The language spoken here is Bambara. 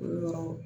O yɔrɔ